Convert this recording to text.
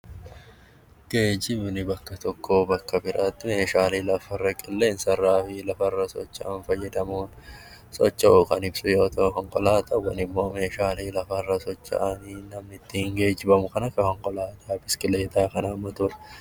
Geejjibni bakka tokkorraa bakka biraatti meeshaalee lafarra, qilleensarra, lafarra socho'uun fayyadaman socho'uu kan ibsu yoo ta'u, konkolaataan immoo meeshaalee lafarra socho'an namni ittiin geejjibamu kan akka biskileetaa, motoraa fi kan kana fakkaatan